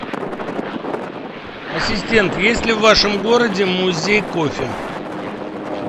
ассистент есть ли в вашем городе музей кофе